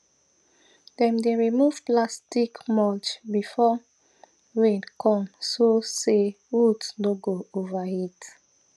dem dey remove plastic mulch before rain come so say root no go overheat